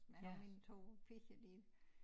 Men mine 2 piger de